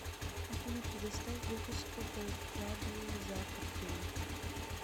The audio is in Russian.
афина предоставь выписку по вкладу за апрель